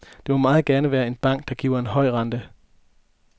Det må meget gerne være en bank, der giver en høj rente.